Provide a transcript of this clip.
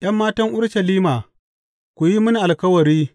’Yan matan Urushalima, ku yi mini alkawari.